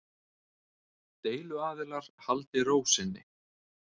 Deiluaðilar haldi ró sinni